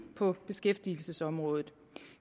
på beskæftigelsesområdet